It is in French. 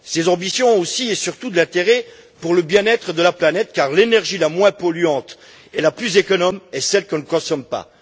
Ces ambitions ont aussi et surtout de l'intérêt pour le bien être de la planète, car l'énergie la moins polluante et la plus économe est celle que l'on ne consomme pas.